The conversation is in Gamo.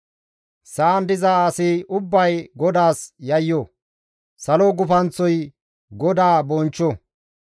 Sa7an diza asi ubbay GODAAS yayyo; salo gufanththoy GODAA bonchcho.